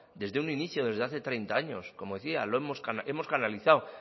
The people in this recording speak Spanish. desde un inicio desde hace treinta años como decía hemos canalizado